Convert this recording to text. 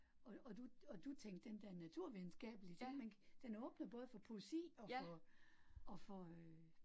Og og du og du tænkte den der naturvidenskabelige ting ik, den åbner både for poesi og for og for øh